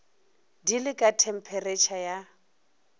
di le ka thempheretšha ya